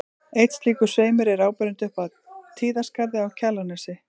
Einn slíkur sveimur er áberandi upp af Tíðaskarði á Kjalarnesi.